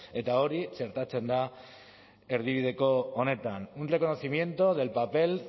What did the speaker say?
eta hori txertatzen da erdibideko honetan un reconocimiento del papel